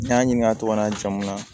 N y'a ɲininka a tɔgɔ n'a jamu na